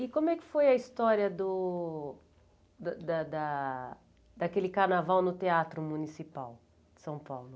E como é que foi a história do da da da daquele carnaval no Teatro Municipal de São Paulo?